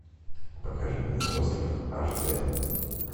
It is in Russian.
покажи мне остров аш дэ